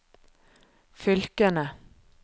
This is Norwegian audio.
fylkene